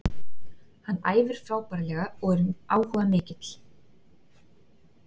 Hann æfir frábærlega og er áhugamikill.